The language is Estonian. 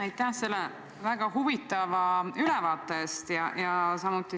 Aitäh selle väga huvitava ülevaate eest!